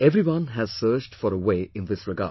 Everyone has searched for a wayin this regard